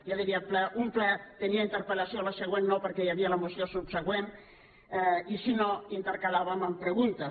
jo diria que un ple tenia interpel·lació el següent no perquè hi havia la moció subsegüent i si no ho intercalàvem amb preguntes